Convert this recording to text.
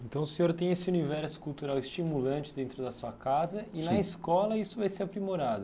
Então o senhor tem esse universo cultural estimulante dentro da sua casa e na escola isso vai ser aprimorado.